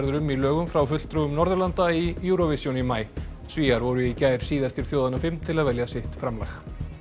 um í lögum frá fulltrúum Norðurlanda í Eurovision í maí Svíar voru í gær síðastir þjóðanna fimm til að velja sitt framlag